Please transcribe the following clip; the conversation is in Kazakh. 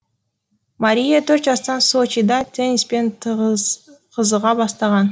мария төрт жастан сочида тенниспен қызыға бастаған